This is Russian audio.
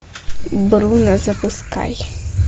бруно запускай